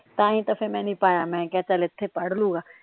ਤਾ ਹੀ ਤਾ ਫਿਰ ਮੈ ਨਹੀਂ ਪਾਇਆ ਮੈ ਕਿਹਾ ਚਲ ਇੱਥੇ ਪੜਲੂਗਾ।